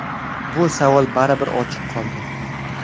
Bu savol baribir ochiq qoldi.